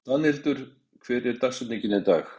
Danhildur, hver er dagsetningin í dag?